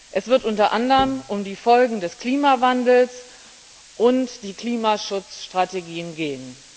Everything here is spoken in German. Es wird unter anderem um die Folgen des Klimawandels und die Klimaschutzstrategien gehen.